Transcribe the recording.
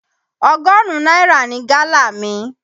Ọgọ́rùn-ún náírà ni gálà mi.